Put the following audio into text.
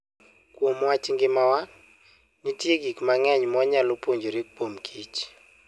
Kuom wach ngimawa, nitie gik mang'eny mwanyalo puonjore kuom kich.